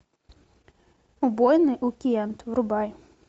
убойный уикэнд врубай